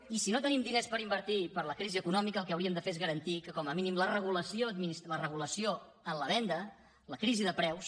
i si no tenim diners per invertir per la crisi econòmica el que hauríem de fer és garantir que com a mínim la regulació en la venda la crisi de preus